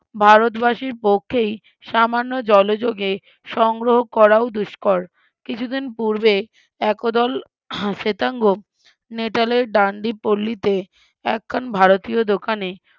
ভারতবাসীর পক্ষেই সামান্য জলযোগে সংগ্রহ করাও দুস্কর, কিছুদিন পুর্বে, একদল, শ্বেতাঙ্গ নেতালের ডান্ডি পল্লীতে একখান ভারতীয় দোকানে,